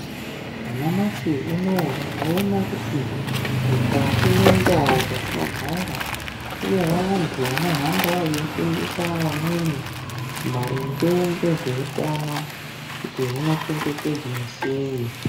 Nyashi unouyu tinoona kuti mukati mwendau dzatinogara. Kune vantu vanohamba veifundisa vamweni maringe ngezveutano kuti hunochengetedzwa sei.